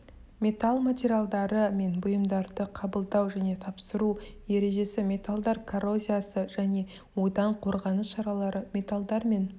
металл материалдары мен бұйымдарды қабылдау және тапсыру ережесі металдар коррозиясы және одан қорғаныс шаралары металлдар мен